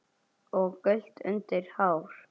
og gult undir hár.